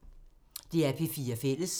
DR P4 Fælles